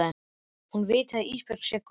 Hún viti að Ísbjörg sé góð.